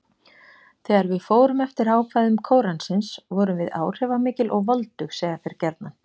Þegar við fórum eftir ákvæðum Kóransins, vorum við áhrifamikil og voldug: segja þeir gjarnan.